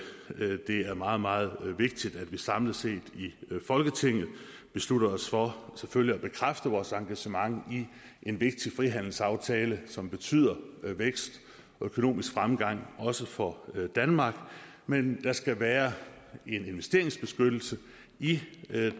er meget meget vigtigt at vi samlet set i folketinget beslutter os for selvfølgelig at bekræfte vores engagement i en vigtig frihandelsaftale som betyder vækst og økonomisk fremgang også for danmark men der skal være en investeringsbeskyttelse i